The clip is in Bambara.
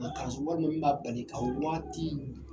walima min b'a bali ka waati